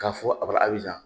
K'a fɔ a barabira